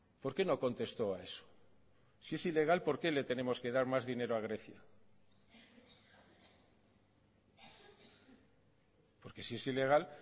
por qué no contestó a eso si es ilegal por qué le tenemos que dar más dinero a grecia porque si es ilegal